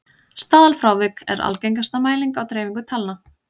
staðalfrávik er algengasta mæling á dreifingu talna